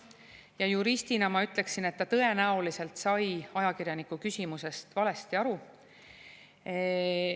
Ja juristina ma ütleksin, et ta tõenäoliselt sai ajakirjaniku küsimusest valesti aru.